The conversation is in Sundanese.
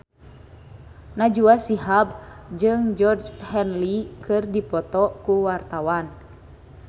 Najwa Shihab jeung Georgie Henley keur dipoto ku wartawan